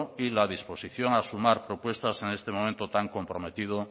y la disposición a sumar propuestas en este momento tan comprometido